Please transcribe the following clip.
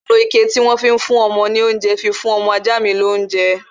Mo lo ike tí wọ́n fi ń fún ọmọ ní oúnjẹ ni mo fi fún ọmọ ajá mi lounje